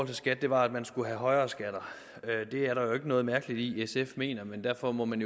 til skat var at man skulle have højere skatter det er der jo ikke noget mærkeligt i at sf mener men derfor må man